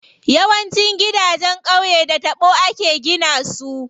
Yawancin gidanjen qauye da taɓo ake gina su.